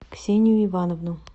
ксению ивановну